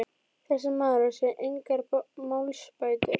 Þessi maður á sér engar málsbætur.